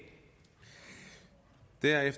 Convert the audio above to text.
er i